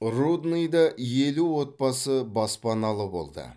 рудныйда елу отбасы баспаналы болды